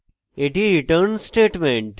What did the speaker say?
এটি return statement